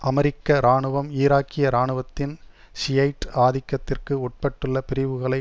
அமெரிக்க இராணுவம் ஈராக்கிய இராணுவத்தின் ஷியைட் ஆதிக்கத்திற்கு உட்பட்டுள்ள பிரிவுகளை